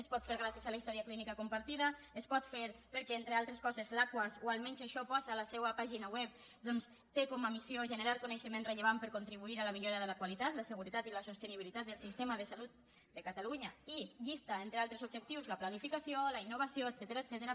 es pot fer gràcies a la història clínica compartida es pot fer perquè entre altres coses l’aquas o almenys això posa a la seua pàgina web té com a missió generar coneixement rellevant per contribuir a la millora de la qualitat la seguretat i la sostenibilitat del sistema de salut de catalunya i llista entre altres objectius la planificació la innovació etcètera